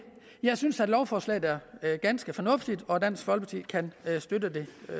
jeg synes at lovforslaget er ganske fornuftigt og dansk folkeparti kan støtte det